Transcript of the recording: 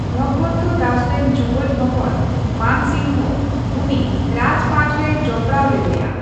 ᱵᱷᱚᱜᱵᱚᱱᱛᱚ ᱫᱟᱥ ᱨᱮᱱ ᱡᱩᱭᱟᱹᱱ ᱦᱚᱯᱚᱱ ᱢᱟᱱ ᱥᱤᱝᱦᱚ ᱩᱱᱤ ᱨᱟᱡᱯᱟᱴᱨᱮᱭ ᱡᱚᱯᱲᱟᱣ ᱞᱮᱫᱮᱭᱟ ᱾